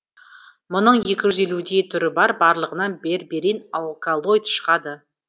мұның екі жүз елудей түрі бар барлығынан берберин алкалоид шығады